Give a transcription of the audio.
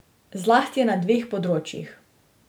Zlasti na dveh področjih.